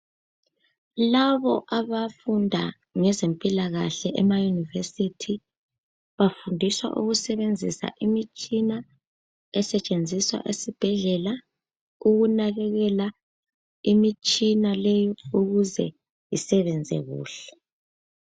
Labo abafunda ngezempilakahle emayunivesithi, bafundiswa ukusebenzisa imitshina esetshenziswa esibhedlela ukunakekela imitshina leyi ukuze isebenze kuhle.